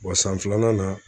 san filanan na